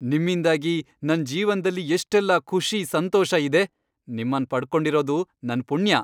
ನಿಮ್ಮಿಂದಾಗಿ ನನ್ ಜೀವನ್ದಲ್ಲಿ ಎಷ್ಟೆಲ್ಲ ಖುಷಿ, ಸಂತೋಷ ಇದೆ. ನಿಮ್ಮನ್ ಪಡ್ಕೊಂಡಿರದು ನನ್ ಪುಣ್ಯ.